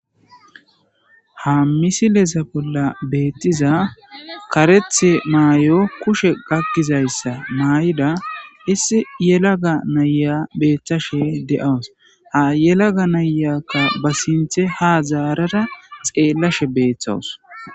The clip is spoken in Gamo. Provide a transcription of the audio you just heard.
ha misileza bolla beettiza karethe maay7o kushe gakkizayssa maay7ida issi yelaga naya beeththashe de7awus ha yelaga nayakka ba sinthe ha zaarara xeellashe beeththawus